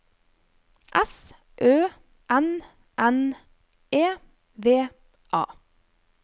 S Ø N N E V A